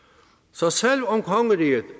så selv om kongeriget